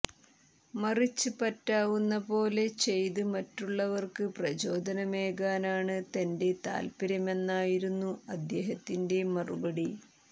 മറിച്ച് പറ്റാവുന്ന പോലെ ചെയ്ത് മറ്റുള്ളവര്ക്ക് പ്രചോദനമേകാനാണ് തന്റെ താല്പര്യമെന്നായിരുന്നു അദ്ദേഹത്തിന്റെ മറുപടി